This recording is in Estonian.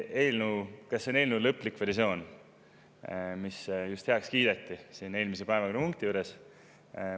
Et kas see on eelnõu lõplik versioon, mis just heaks kiideti siin eelmises päevakorrapunktis?